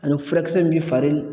Ani furakisɛ min bi fari